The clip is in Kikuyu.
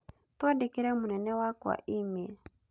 Twandĩkĩre mũnene wakwa e-mail